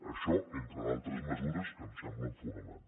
això entre d’altres mesures que em semblen fonamentals